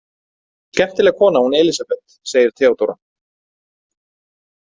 Skemmtileg kona, hún Elísabet, segir Theodóra.